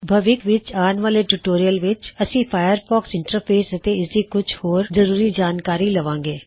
ਭਵਿੱਖ ਵਿੱਚ ਆਣ ਵਾਲੇ ਟਿਊਟੋਰਿਯਲ ਵਿੱਚ ਅਸੀ ਫਾਇਰਫੌਕਸ ਇੰਨਟਰਫੇਸ ਅਤੇ ਇਸਦੀ ਕੁੱਛ ਹੋਰ ਖਸੂਸੀ ਜਾਣਕਾਰੀ ਲਵਾਂਗੇ